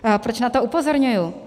Proč na to upozorňuji?